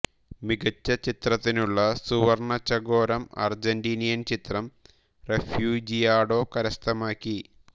മികച്ച ചിത്രത്തിനുള്ള സുവർണ ചകോരം അർജന്റീനിയൻ ചിത്രം റെഫ്യൂജിയാഡോ കരസ്ഥമാക്കി